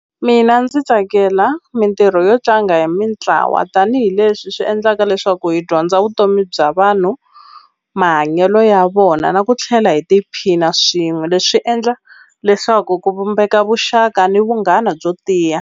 Mina ndzi tsakela mintirho yo tlanga hi mitlawa tanihileswi swi endlaka leswaku hi dyondza vutomi bya vanhu mahanyelo ya vona na ku tlhela hi tiphina swin'we leswi endla leswaku ku vumbeka vuxaka ni vunghana byo tiya.